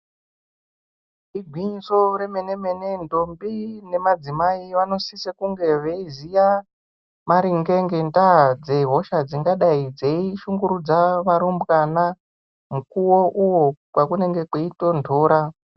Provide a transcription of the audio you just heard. Igwinyiso remene mene ndombi nemadzimai vanosisa kunge veiziya maringe ngenda dzehosha dzingadei dzeishungurudza varum bwana mukuwo uyo pakunenge kweitonhora.